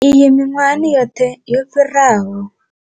Iyi miṅwahani yoṱhe yo fhiraho.